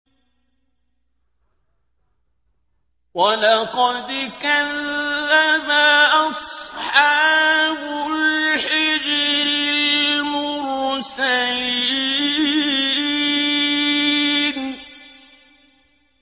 وَلَقَدْ كَذَّبَ أَصْحَابُ الْحِجْرِ الْمُرْسَلِينَ